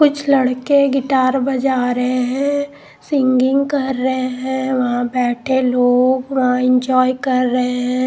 कुछ लड़के गिटार बजा रहे हैं सिंगिंग कर रहे हैं वहां बैठे लोग वहां एंजॉय कर रहे हैं।